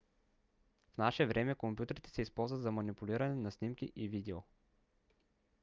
в наше време компютрите се използват за манипулиране на снимки и видео